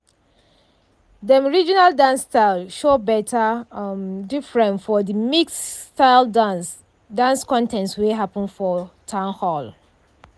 dem regional dance style show better um difference for de mixed-styled dance dance contest wey happen for town hall.